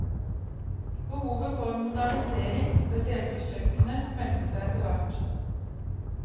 Behovet for modernisering, spesielt på kjøkkenet, meldte seg etterhvert.